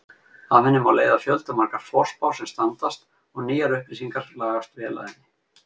Af henni má leiða fjöldamargar forspár sem standast og nýjar upplýsingar lagast vel að henni.